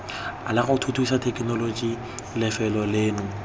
lago thuthusa thekenoloji lefelo leno